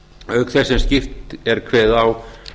auk þess sem skýrt er kveðið á